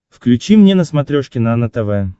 включи мне на смотрешке нано тв